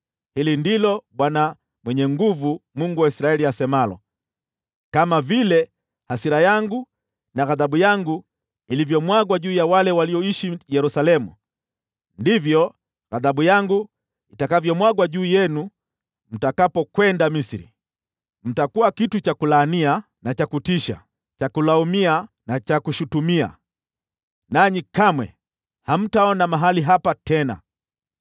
Hili ndilo Bwana Mwenye Nguvu Zote, Mungu wa Israeli, asemalo: ‘Kama vile hasira yangu na ghadhabu yangu ilivyomwagwa juu ya wale walioishi Yerusalemu, ndivyo ghadhabu yangu itakavyomwagwa juu yenu mtakapokwenda Misri. Mtakuwa kitu cha kulaania na cha kutisha, cha kulaumia na cha kushutumia, nanyi kamwe hamtaona mahali hapa tena.’